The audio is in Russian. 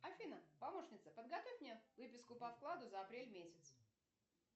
афина помощница подготовь мне выписку по вкладу за апрель месяц